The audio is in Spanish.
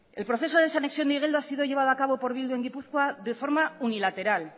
el proceso de desanexión de igeldo ha sido llevado a cabo por bildu en gipuzkoa de forma unilateral